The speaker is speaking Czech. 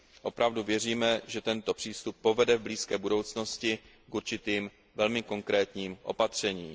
Opravdu věříme, že tento přístup povede v blízké budoucnosti k určitým velmi konkrétním opatřením.